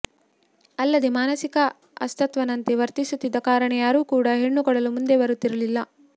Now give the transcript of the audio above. ಅಲ್ಲದೆ ಮಾನಸಿಕ ಅಸ್ವಸ್ಥನಂತೆ ವರ್ತಿಸುತ್ತಿದ್ದ ಕಾರಣ ಯಾರೂ ಕೂಡ ಹೆಣ್ಣು ಕೊಡಲು ಮುಂದು ಬರುತ್ತಿರಲಿಲ್ಲ